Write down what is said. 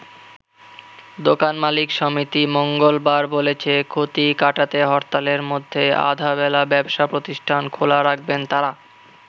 দোকান মালিক সমিতি মঙ্গলবার বলেছে ক্ষতি কাটাতে হরতালের মধ্যে আধাবেলা ব্যবসা প্রতিষ্ঠান খোলা রাখবেন তারা।